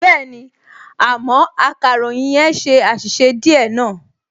Bẹ́ẹ̀ni, àmọ́ akàròyìn yẹn ṣe àṣìṣe díẹ̀ náà